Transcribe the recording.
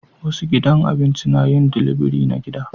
Wasu gidan abinci na yin dilibiri na gida